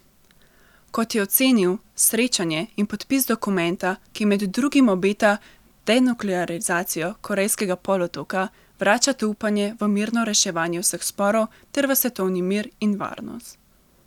Kot je ocenil, srečanje in podpis dokumenta, ki med drugim obeta denuklearizacijo Korejskega polotoka, vračata upanje v mirno reševanje vseh sporov ter v svetovni mir in varnost.